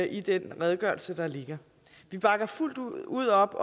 i den redegørelse der ligger vi bakker fuldt ud op